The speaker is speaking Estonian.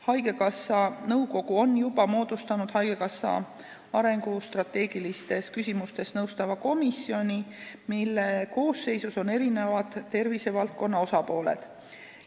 Haigekassa nõukogu on juba moodustanud haigekassat arengustrateegilistes küsimustes nõustava komisjoni, mille koosseisus on erinevad tervisevaldkonna osapooled.